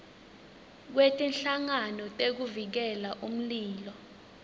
kwetinhlangano tekuvikela umlilo